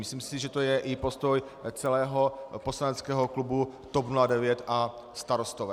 Myslím si, že to je i postoj celého poslaneckého klubu TOP 09 a Starostové.